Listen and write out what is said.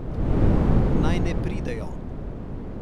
Naj ne pridejo!